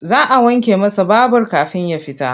Za a wanke masa babur kafin ya fita.